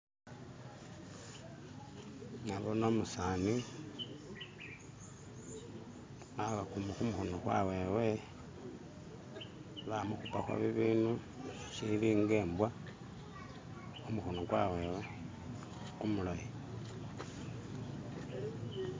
Nabone umusani abakhumu khumukhono kwawewe bamukhupakho bibindu shilinga mbwa khumukhono kwawewe kumulayi